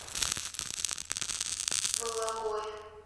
бологое